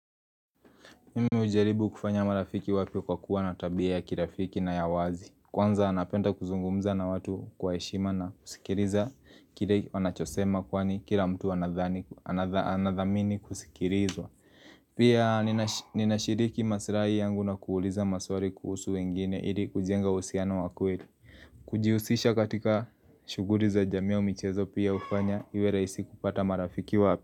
Mime hujaribu kufanya marafiki wapya kwa kuwa na tabia ya kirafiki na ya wazi. Kwanza anapenda kuzungumza na watu kwa heshima na kusikiriza kile wanachosema kwani kira mtu anadhamini kusikirizwa Pia ninashiriki masirahi yangu na kuuliza maswari kuhusu wengine ili kujenga uhusiano wa kweli Kujiusisha katika shuguri za jamii ya michezo pia hufanya iwe rahisi kupata marafiki wapya.